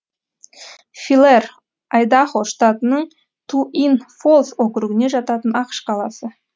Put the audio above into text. филэр айдахо штатының туин фолс округіне жататын ақш қаласы